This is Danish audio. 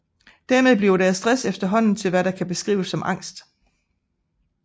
Dermed bliver deres stress efterhånden til hvad der kan beskrives som angst